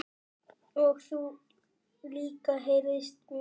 Og þú líka heyrist mér